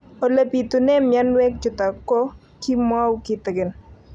Ole pitune mionwek chutok ko kimwau kitig'�n